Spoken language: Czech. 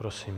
Prosím.